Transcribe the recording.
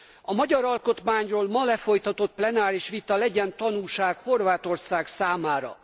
A magyar alkotmányról ma lefolytatott plenáris vita legyen tanulság Horvátország számára.